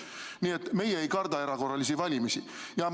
Nii et meie ei karda erakorralisi valimisi.